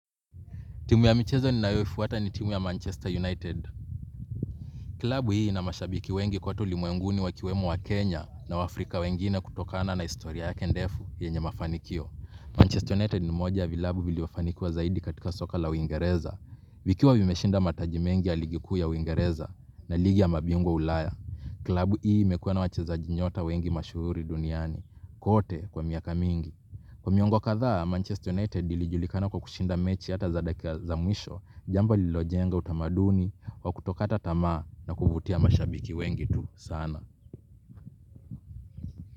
Timu ya michezo ninayoifuata ni timu ya Manchester United. Klabu hii ina mashabiki wengi kwote ulimuenguni wakiwem waKenya na waafrika wengine kutokana na historia yake ndefu yenye mafanikio. Manchester United ni moja ya vilabu vilivyofanikiwa zaidi katika soka la uingereza. Vikiwa vimeshinda mataji mengi ya ligi kuu ya uingereza na ligi ya mabingwa ulaya. Klabu hii imekuwa na wachezaji nyota wengi mashuhuri duniani. Kote kwa miaka mingi. Kwa miongo kadhaa, Manchester United ilijulikana kwa kushinda mechi hata za dakika za mwisho, jamba lililojenga utamaduni, kwa kutokata tamaa na kuvutia mashabiki wengi tu sana.